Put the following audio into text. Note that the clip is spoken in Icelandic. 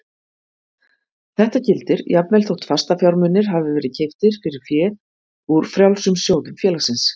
Þetta gildir jafnvel þótt fastafjármunir hafi verið keyptir fyrir fé úr frjálsum sjóðum félagsins.